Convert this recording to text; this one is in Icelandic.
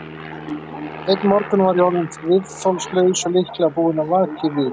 Einn morgun var ég orðinn viðþolslaus og líklega búinn að vaka í viku.